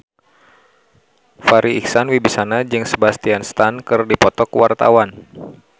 Farri Icksan Wibisana jeung Sebastian Stan keur dipoto ku wartawan